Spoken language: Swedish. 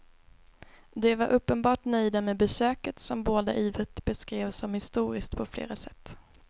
De var uppenbart nöjda med besöket som båda ivrigt beskrev som historiskt på flera sätt.